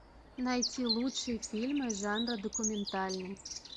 найти лучшие фильмы жанра документальный